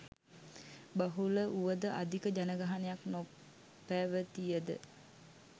බහුල වුවද අධික ජනගහණයක් නොපැවතියද